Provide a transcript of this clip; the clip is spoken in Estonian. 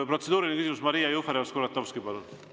Protseduuriline küsimus, Maria Jufereva-Skuratovski, palun!